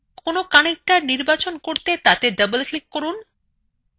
কোন connector নির্বাচন করতে তাতে double click করুন